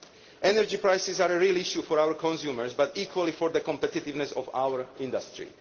Energy prices are a real issue for our consumers but equally for the competitiveness of our industry.